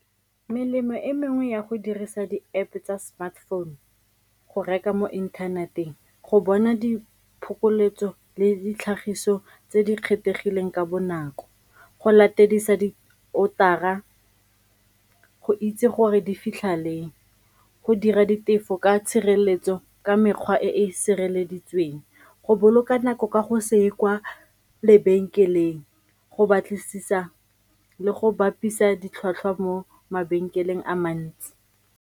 Melemo e mengwe ya go dirisa di-App tsa smartphone go reka mo inthaneteng, go bona diphokoletso le ditlhagiso tse di kgethegileng ka bonako, go latedisa di-order-ra, go itse gore di fitlha leng, go dira ditefo ka tshireletso ka mekgwa e e sireleditsweng, go boloka nako ka go se ye kwa lebenkeleng go batlisisa le go bapisa ditlhwatlhwa mo mabenkeleng a mantsi.